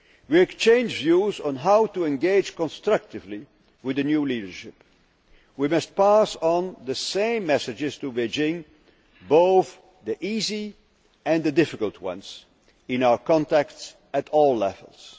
We exchanged views on how to engage constructively with the new leadership. We must pass on the same messages to Beijing, both the easy and the difficult ones, in our contacts at all